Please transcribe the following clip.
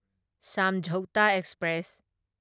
ꯁꯝꯓꯧꯇꯥ express